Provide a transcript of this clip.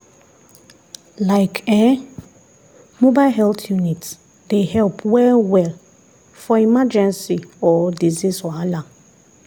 like[um]mobile health unit dey help well-well for emergency or disease wahala.